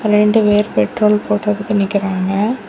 ரெண்டு பேர் பெட்ரோல் போட்டுக்கிட்டு நிக்கிறாங்க.